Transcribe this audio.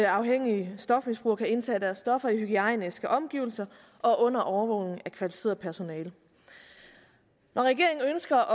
afhængige stofmisbrugere kan indtage deres stoffer i hygiejniske omgivelser og under overvågning af kvalificeret personale når regeringen ønsker